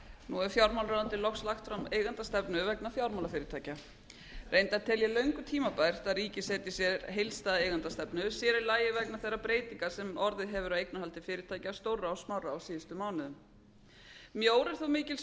nú hefur fjármálaráðuneytið loks lagt fram eigendastefnu vegna fjármálafyrirtækja reyndar tel ég löngu tímabært að ríkið setji sér heildareigendastefnu sér í lagi vegna þeirra breytinga sem orðið hafa á eignarhaldi fyrirtækja stórra og smárra á síðustu mánuðum mjór er þó mikils